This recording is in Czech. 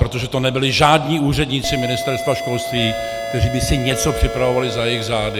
Protože to nebyli žádní úředníci Ministerstva školství, kteří by si něco připravovali za jejich zády.